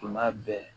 Tuma bɛɛ